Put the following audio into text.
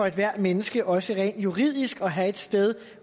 ethvert menneske også rent juridisk at have et sted